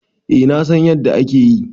Eh na San yanda akeyi.